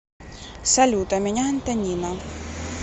салют а меня антонина